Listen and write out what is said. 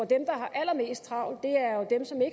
der har allermest travlt